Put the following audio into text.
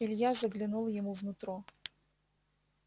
илья заглянул ему в нутро